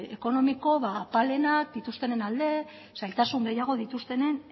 ekonomiko apalenak dituztenen alde zailtasun gehiago dituztenen